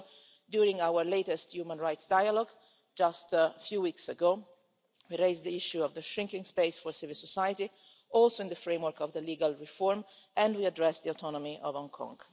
Also, during our latest human rights dialogue, just a few weeks ago, we raised the issue of the shrinking space for civil society also in the framework of the legal reform, and we addressed the autonomy of Hong Kong.